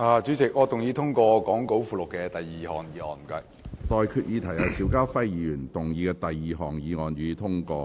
我現在向各位提出的待議議題是：邵家輝議員動議的第二項議案，予以通過。